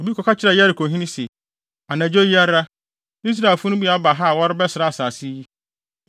Obi kɔka kyerɛɛ Yerikohene se, “Anadwo yi ara, Israelfo no bi aba ha a wɔrebɛsra asase yi.”